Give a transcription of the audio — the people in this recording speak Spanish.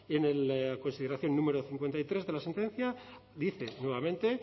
en la consideración número cincuenta y tres de la sentencia dice nuevamente